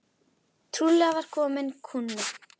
Trúlega var kominn kúnni.